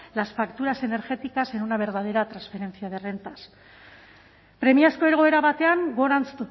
las facturas energéticas en una verdadera transferencia de rentas premiazko egoera batean gorantz